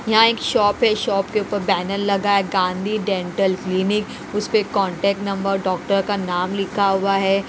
यहाँ एक शॉप है शॉप के ऊपर बैनर लगा है गांधी डेंटल क्लीनिक उस पे कांटेक्ट नंबर डॉक्टर का नाम लिखा हुआ है।